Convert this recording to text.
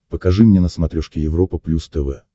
покажи мне на смотрешке европа плюс тв